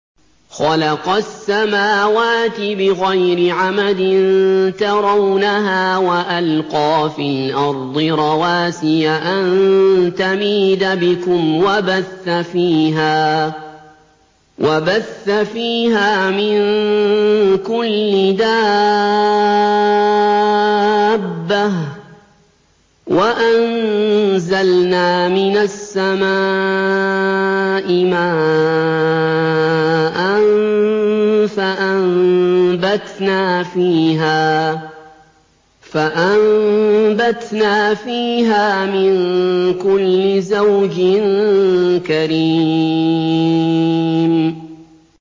خَلَقَ السَّمَاوَاتِ بِغَيْرِ عَمَدٍ تَرَوْنَهَا ۖ وَأَلْقَىٰ فِي الْأَرْضِ رَوَاسِيَ أَن تَمِيدَ بِكُمْ وَبَثَّ فِيهَا مِن كُلِّ دَابَّةٍ ۚ وَأَنزَلْنَا مِنَ السَّمَاءِ مَاءً فَأَنبَتْنَا فِيهَا مِن كُلِّ زَوْجٍ كَرِيمٍ